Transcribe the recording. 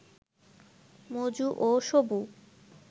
মজু ও সবু